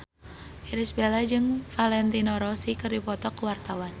Irish Bella jeung Valentino Rossi keur dipoto ku wartawan